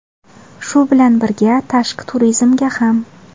Shu bilan birga, tashqi turizmga ham.